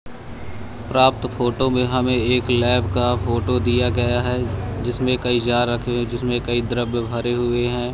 रात फोटो में हमें एक लैब का फोटो दिया गया हैं जिसमें कई जार रखे हैं जिसमें कई द्रव्य भरें हुए हैं।